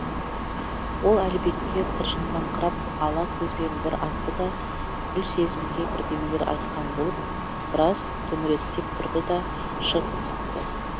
ол әлібекке тыржыңдаңқырап ала көзбен бір атты да гүлсезімге бірдемелер айтқан болып біраз төңіректеп тұрды да шығып кетті